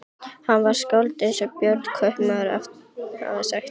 Hann var skáld eins og Björn kaupmaður hafði sagt þeim.